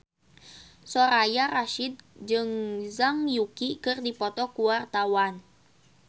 Soraya Rasyid jeung Zhang Yuqi keur dipoto ku wartawan